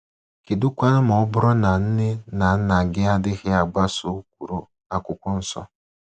Kedụkwanụ ma ọ bụrụ na nne na nna gị adịghị agbaso ụkpụrụ akwụkwọ nsọ?